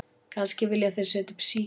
Kannski vilja þeir setja upp síki